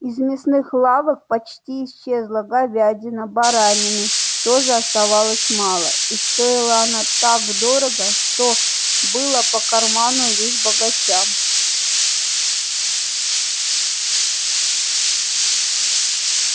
из мясных лавок почти исчезла говядина баранины тоже оставалось мало и стоила она так дорого что была по карману лишь богачам